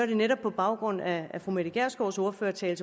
netop på baggrund af fru mette gjerskovs ordførertale